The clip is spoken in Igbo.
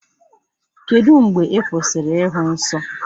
Kedụ mgbe ị kwụsịrị ịhụ nsọ?